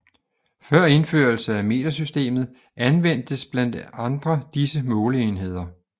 Før indførelse af metersystemet anvendtes blandt andre disse måleenheder